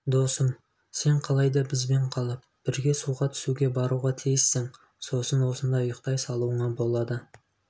достым сен қалай да бізбен қалып бірге суға түсуге баруға тиіссің сосын осында ұйықтай салуыңа болады